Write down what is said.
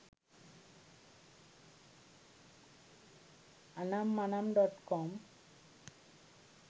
anammanam.com